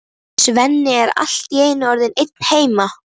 Svenni er allt í einu orðinn einn heima!